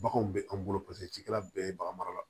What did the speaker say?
Baganw bɛ an bolo paseke cikɛla bɛɛ ye bagan mara la